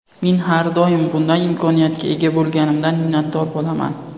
Men har doim bunday imkoniyatga ega bo‘lganimdan minnatdor bo‘laman.